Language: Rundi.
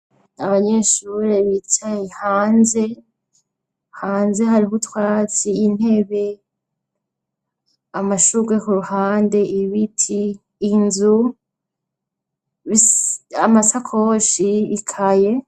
Abanyeshure bicaye hanze hanze hariho utwatsi intebe amashurwe ku ruhande ibiti inzu amasakoshi bikaye.